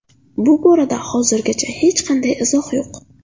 Bu borada hozircha hech qanday izoh yo‘q”.